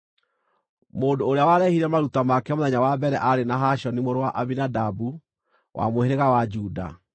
Mũndũ ũrĩa warehire maruta make mũthenya wa mbere aarĩ Nahashoni mũrũ wa Aminadabu wa mũhĩrĩga wa Juda.